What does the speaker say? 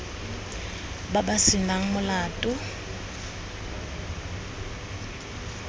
ba ba se nang molato